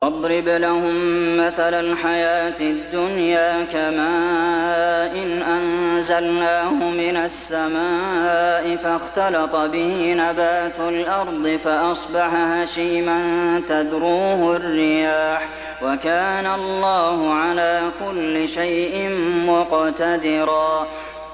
وَاضْرِبْ لَهُم مَّثَلَ الْحَيَاةِ الدُّنْيَا كَمَاءٍ أَنزَلْنَاهُ مِنَ السَّمَاءِ فَاخْتَلَطَ بِهِ نَبَاتُ الْأَرْضِ فَأَصْبَحَ هَشِيمًا تَذْرُوهُ الرِّيَاحُ ۗ وَكَانَ اللَّهُ عَلَىٰ كُلِّ شَيْءٍ مُّقْتَدِرًا